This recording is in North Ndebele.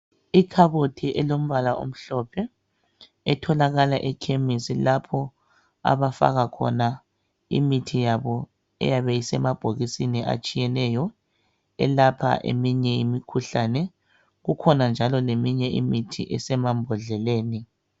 Ikhabothi elombala omhlophe etholakala ekhemisi lapho abafaka khona imithi yabo eyabe isemabhokisini atshiyeneyo elapha eminye imikhuhlane. Kukhona njalo leminye imithi esemambodleleni.